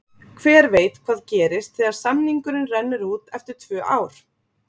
Hver veit hvað gerist þegar samningurinn rennur út eftir tvö ár?